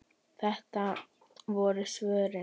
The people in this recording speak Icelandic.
Þetta voru svörin.